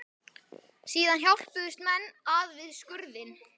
Síðan hjálpuðust menn að við skurðinn.